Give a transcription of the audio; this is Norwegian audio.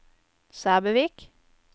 Sæbøvik